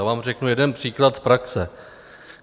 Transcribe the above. Já vám řeknu jeden příklad z praxe.